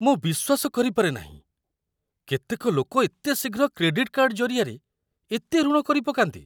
ମୁଁ ବିଶ୍ୱାସ କରିପାରେ ନାହିଁ, କେତେକ ଲୋକ ଏତେ ଶୀଘ୍ର କ୍ରେଡିଟ୍‌ କାର୍ଡ ଜରିଆରେ ଏତେ ଋଣ କରିପକାନ୍ତି!